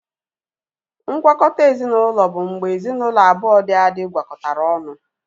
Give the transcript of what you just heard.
Ngwakọta ezinaụlọ bụ mgbe ezinaụlọ abụọ dị adị gwakọtara ọnụ